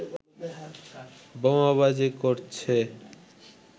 বোমাবাজি করছে